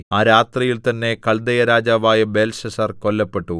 ആ രാത്രിയിൽ തന്നെ കല്ദയരാജാവായ ബേൽശസ്സർ കൊല്ലപ്പെട്ടു